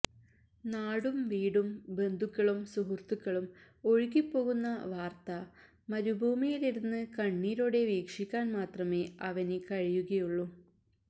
നാട് വീടും ബന്ധുക്കളും സുഹൃത്തുക്കളും ഒഴുകിപ്പോകുന്ന വാർത്ത മരുഭൂമിയിലിരുന്ന് കണ്ണീരോടെ വീക്ഷിക്കാൻ മാത്രമേ അവന് കഴിയുകയുള്ളു